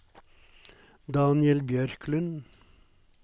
Daniel Bjørklund